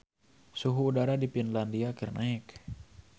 Suhu udara di Finlandia keur naek